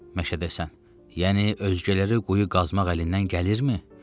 Məşədəsən, yəni özgələrə quyu qazmaq əlindən gəlirmi?